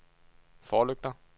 forlygter